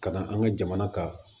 Ka na an ka jamana ka